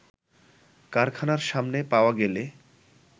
কারখানার সামনে পাওয়া গেলে